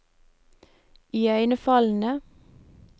iøynefallende